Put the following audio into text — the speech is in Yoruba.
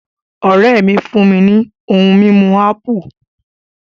Ọ̀ré mi fún mi ní ohun mímu ápù